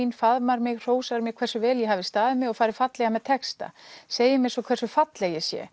inn faðmar mig hrósar mér hversu vel ég hafi staðið mig og farið fallega með texta segir mér svo hversu falleg ég sé